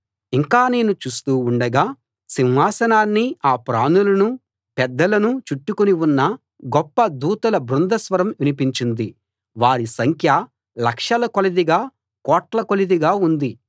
ఇంకా నేను చూస్తూ ఉండగా సింహాసనాన్నీ ఆ ప్రాణులనూ పెద్దలనూ చుట్టుకుని ఉన్న గొప్ప దూతల బృంద స్వరం వినిపించింది వారి సంఖ్య లక్షల కొలదిగా కోట్ల కొలదిగా ఉంది